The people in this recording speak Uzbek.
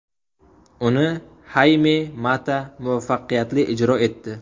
Uni Hayme Mata muvaffaqiyatli ijro etdi.